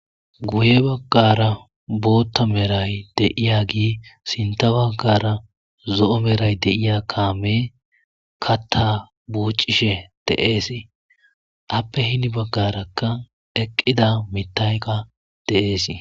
Guye bagara bota medhay de'agey sinitha bagara zo'o medhay de'ay Kamey katha wochishe de'es eyape hini bagaraka eqida mithay de'es